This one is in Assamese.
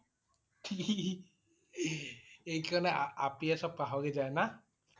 কি~হি~হিহি সেইকাৰণে আপিয়ে সব পাহৰি যায় না?